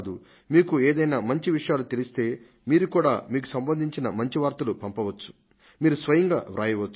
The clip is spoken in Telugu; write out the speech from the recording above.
మీకు ఏదైనా మంచి విషయాలు తెలిస్తే మీరు కూడా మీకు సంబంధించిన మంచి వార్తలు పంపవచ్చు